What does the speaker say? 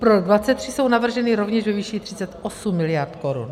Pro rok 2023 jsou navrženy rovněž ve výši 38 miliard korun.